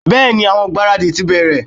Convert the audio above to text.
bẹẹni, awọn igbaradi ti bẹrẹ